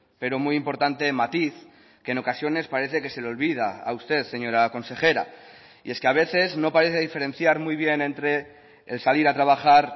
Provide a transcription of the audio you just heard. pero muy importante matiz que en ocasiones parece que se le olvida a usted señora consejera y es que a veces no parece diferenciar muy bien entre el salir a trabajar